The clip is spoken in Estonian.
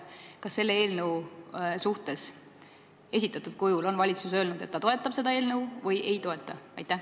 Kas valitsus on selle eelnõu suhtes – esitatud kujul – öelnud, kas ta toetab seda või mitte?